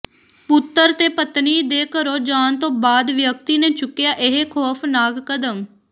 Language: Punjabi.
ਪੁੱਤਰ ਤੇ ਪਤਨੀ ਦੇ ਘਰੋਂ ਜਾਣ ਤੋਂ ਬਾਅਦ ਵਿਅਕਤੀ ਨੇ ਚੁੱਕਿਆ ਇਹ ਖੌਫ਼ਨਾਕ ਕਦਮ